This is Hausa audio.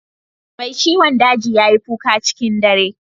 Mai ciwon daji ya yi kuka cikin dare